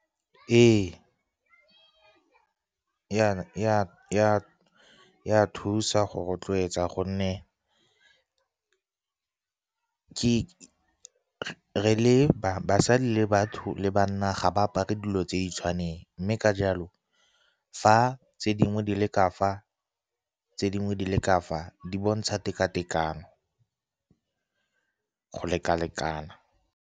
Ee, e a thusa go rotloetsa, gonne re le basadi le ba le banna ga ba apare dilo tse di sa tshwaneng. Mme ka jalo, fa tse dingwe di le ka fa, tse dingwe di le ka fa, di bontsha teka-tekano, go leka-lekana.